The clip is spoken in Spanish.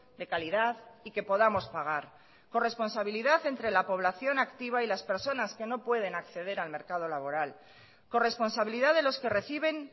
de calidad y que podamos pagar corresponsabilidad entre la población activa y las personas que no pueden acceder al mercado laboral corresponsabilidad de los que reciben